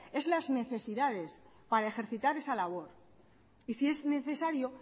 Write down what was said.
es las necesidades para ejercitar esa labor y si es necesario